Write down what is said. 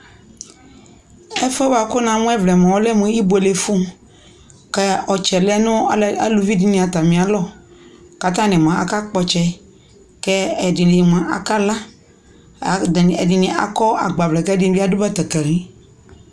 ɛfuɛ boa ko namo ɛvlaɛ moa ɔlɛ mo ibuele fu ko ɔtsɛ lɛ no aluvi di atami alɔ ko atani moa aka kpɔ ɔtsɛ ko ɛdi ni moa aka la ko ɛdi ni akɔ agbavlɛ ko ɛdi ni ado batakari